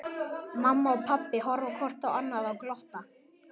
Mamma og pabbi horfa hvort á annað og glotta.